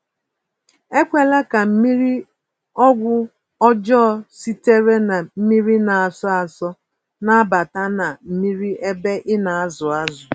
Ekwela ka mmiri-ọgwụ ọjọ sitere na mmírí na-asọ asọ, nabata na mmiri ébé ịnazụ ázụ̀